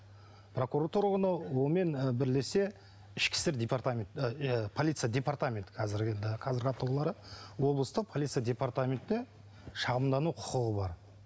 прокуратура оны онымен бірлесе ішкі істер департамент полиция департаменті қазіргі енді қазіргі атаулары облыстық полиция департаментіне шағымдану құқығы бар